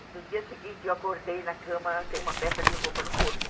E no dia seguinte eu acordei na cama sem uma peça de roupa no corpo.